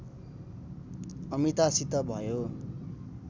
अमितासित भयो